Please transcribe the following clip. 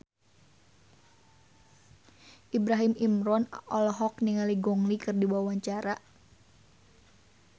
Ibrahim Imran olohok ningali Gong Li keur diwawancara